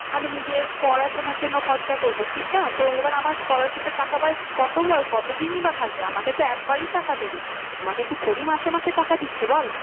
আমি নিজে পড়াশোনার জন্য খরচা করবো ঠিক না। তো এবার আমার scholarship এর টাকা কতদিনই বা থাকবে আমাকে তো একবারই টাকা দেবে। আমাকে কি থোরি মাসে মাসে টাকা দিচ্ছে বল